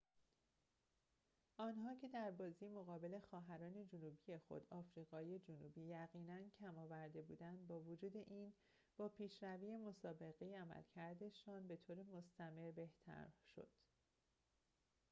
آنها که در بازی مقابل خواهران جنوبی خود آفریقای جنوبی یقیناً کم آورده بودند با وجود این با پیشروی مسابقه عملکردشان به‌طور مستمر بهتر شد